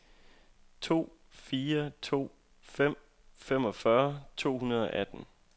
fire fire to fem femogfyrre to hundrede og atten